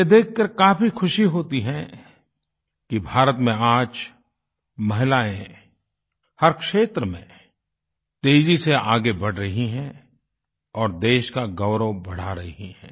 यह देखकर काफी खुशी होती है कि भारत में आज महिलाएँ हर क्षेत्र में तेज़ी से आगे बढ़ रही हैं और देश का गौरव बढ़ा रही हैं